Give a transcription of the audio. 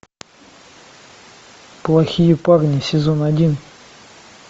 плохие парни сезон один